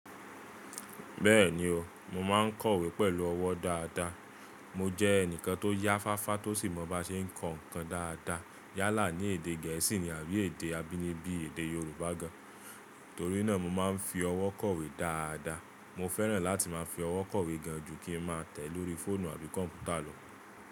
Bẹ́ẹ̀ni o, mo máa ń kọ̀wé pẹ̀lú ọwọ́ dáadáa. Mo jẹ́ ẹnìkan tó yá fáfá tó sì mọ bá ṣe ń kọ nǹkan dáadáa yálà ní èdè gẹ̀ẹ́sì àbí èdè abínibí èdè Yorùbá gan-an. Torí náà mo máa ń fi ọwọ́ kọ̀wé dáadáa. Mo fẹ́ràn láti máa fi ọwọ́ kọ̀wé gan-an ju kí ń máa tẹ̀ lórí fóònù àbí kọ̀m̀pútà lọ.